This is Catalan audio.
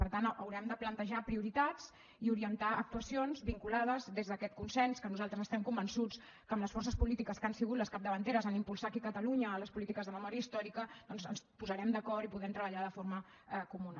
per tant haurem de plantejar prioritats i orientar actuacions vinculades des d’aquest consens que nosaltres estem convençuts que amb les forces polítiques que han sigut les capdavanteres a impulsar aquí a catalunya les polítiques de memòria històrica doncs ens posarem d’acord i podem treballar de forma comuna